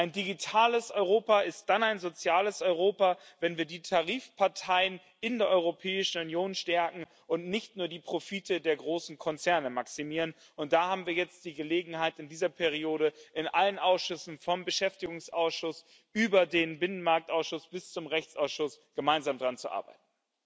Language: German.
Ein digitales Europa ist dann ein soziales Europa, wenn wir die Tarifparteien in der Europäischen Union stärken und nicht nur die Profite der großen Konzerne maximieren, und da haben wir jetzt die Gelegenheit, in dieser Periode in allen Ausschüssen vom Ausschuss für Beschäftigung und soziale Angelegenheiten über den Ausschuss für Binnenmarkt und Verbraucherschutz bis zum Rechtsausschuss gemeinsam daran zu arbeiten.